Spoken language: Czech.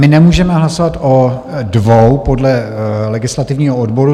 My nemůžeme hlasovat o dvou podle legislativního odboru.